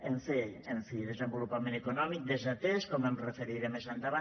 en fi desenvolupament econòmic desatès com em referiré més endavant